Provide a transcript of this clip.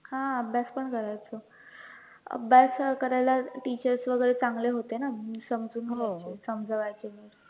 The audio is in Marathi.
हा अभ्यास पण करायचो, अभ्यास करायला teachers वैगरे चांगले होते ना म्हणून समजून घ्यायचे, समजावायचे